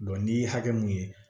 n'i ye hakɛ mun ye